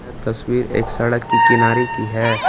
तस्वीर एक सड़क की किनारे की है।